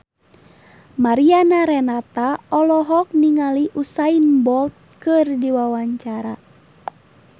Mariana Renata olohok ningali Usain Bolt keur diwawancara